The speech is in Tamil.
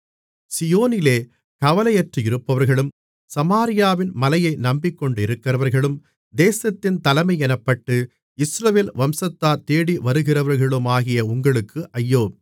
சீயோனிலே கவலையற்றிருப்பவர்களும் சமாரியாவின் மலையை நம்பிக்கொண்டிருக்கிறவர்களும் தேசத்தின் தலைமையென்னப்பட்டு இஸ்ரவேல் வம்சத்தார் தேடிவருகிறவர்களுமாகிய உங்களுக்கு ஐயோ